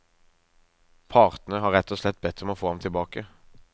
Partene har rett og slett bedt om å få ham tilbake.